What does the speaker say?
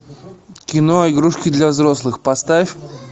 кино игрушки для взрослых поставь